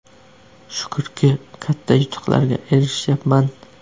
Shukurki, katta yutuqlarga erishyapman.